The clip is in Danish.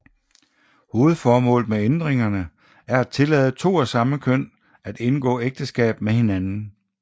Hovedformålet med ændringerne er at tillade to af samme køn at indgå ægteskab med hinanden